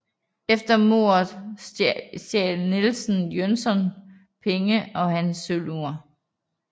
Efter mordet stjal Nielsen Jönssons penge og hans sølvur